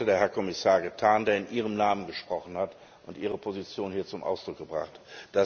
Dies hat heute der Herr Kommissar getan, der in ihrem Namen gesprochen hat und ihre Positionen hier zum Ausdruck gebracht hat.